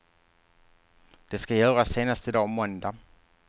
Det ska göras senast i dag, måndag.